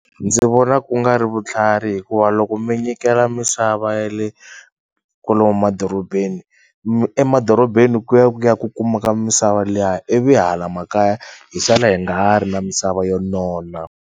Ndzi vona ku nga ri vutlhari hikuva loko mi nyikela misava ya le kwalomo madorobeni emadorobeni ku ya ku ya kukuma misava liya ivi hala makaya hi sala hi nga ha ri na misava yo nona.